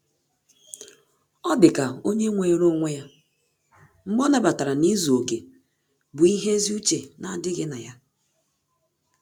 Ọ́ dịka ónyé nwere onwe ya mgbe ọ́ nàbatara na izu oke bụ́ ihe ezi uche nà-ádị́ghị́ na ya.